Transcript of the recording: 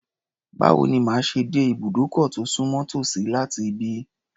Báwo ni màá ṣe dé ìbùdókọ̀ tó sùnmọ́ tòsí láti ibí?